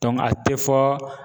a tɛ fɔ